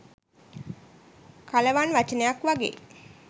කලවන් වචනයක් වගෙයි.